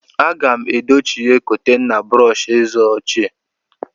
Aga m edochie kontena brọsh eze ochie.